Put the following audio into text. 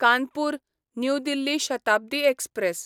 Kanpur new Delhi Shatabdi express